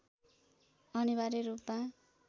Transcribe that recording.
अनिवार्य रूपमा